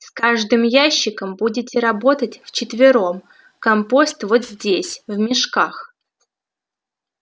с каждым ящиком будете работать вчетвером компост вот здесь в мешках